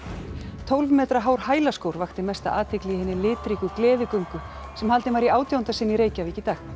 tólf metra hár vakti mesta athygli í hinni litríku gleðigöngu sem haldin var í átjánda sinn í Reykjavík í dag